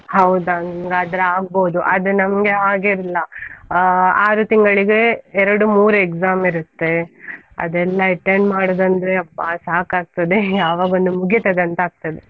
ಹೌದಾ, ನಿಮ್ಗಾದ್ರೆ ಆಗ್ಬೋದು ಆದ್ರೆ ನಮ್ಗೆ ಹಾಗೆ ಇಲ್ಲ, ಆ ಆರು ತಿಂಗಳಿಗೆ ಎರಡು ಮೂರ್ exam ಇರುತ್ತೆ, ಅದೆಲ್ಲ attend ಮಾಡುದಂದ್ರೆ ಅಬ್ಬಾ ಸಾಕಾಗ್ತದೆ ಯಾವಗೊಂದು ಮುಗಿತದೆ ಅಂತಗ್ತದೆ,.